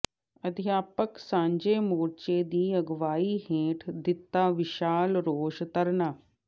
ਅਧਿਆਪਕ ਸਾਂਝੇ ਮੋਰਚੇ ਦੀ ਅਗਵਾਈ ਹੇਠ ਦਿੱਤਾ ਵਿਸ਼ਾਲ ਰੋਸ ਧਰਨਾ